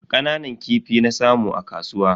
Kananan kifi na samu a kasuwa.